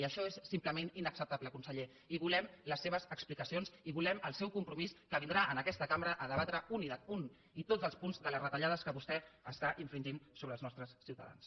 i això és simplement inacceptable conseller i volem les seves explicacions i volem el seu compromís que vindrà en aquesta cambra a debatre un i tots els punts de les retallades que vostè està infringint sobre els nostres ciutadans